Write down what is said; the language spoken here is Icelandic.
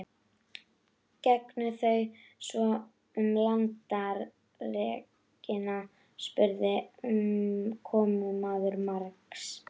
Gengu þau svo um landareignina og spurði komumaður margs.